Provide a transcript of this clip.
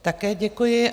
Také děkuji.